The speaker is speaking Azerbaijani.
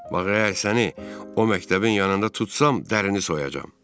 Bax əgər səni o məktəbin yanında tutsam, dərini soyacam.